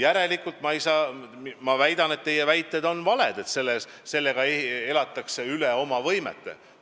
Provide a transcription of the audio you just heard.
Seega ma väidan, et teie väide, et me elame üle oma võimete, on vale.